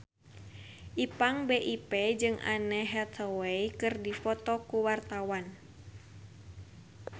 Ipank BIP jeung Anne Hathaway keur dipoto ku wartawan